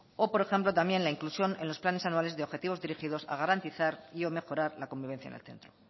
o por ejemplo también la inclusión en los planes anuales de objetivos dirigidos a garantizar y o mejorar la convivencia en el centro